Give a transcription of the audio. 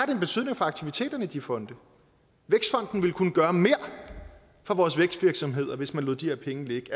en betydning for aktiviteterne i de fonde vækstfonden ville kunne gøre mere for vores vækstvirksomheder hvis man lod de her penge ligge